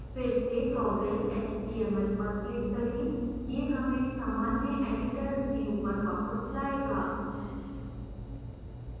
फिर से toggle html पर click करें यह हमें सामान्य editor view पर वापस लाएगा